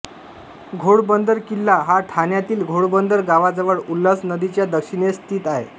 घोडबंदर किल्ला हा ठाण्यातील घोडबंदर गावाजवळ उल्हास नदीच्या दक्षिणेस स्थित आहे